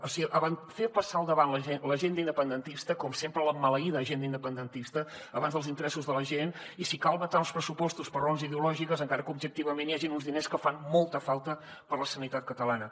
o sigui fer passar al davant l’agenda independentista com sempre la maleïda agenda independentista abans que els interessos de la gent i si cal vetar uns pressupostos per raons ideològiques encara que objectivament hi hagin uns diners que fan molta falta per a la sanitat catalana